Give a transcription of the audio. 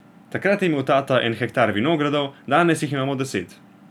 Takrat je imel tata en hektar vinogradov, danes jih imamo deset.